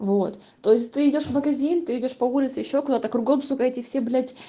вот то есть ты идёшь в магазин ты идёшь по улице ещё куда-то кругом сука все эти все блять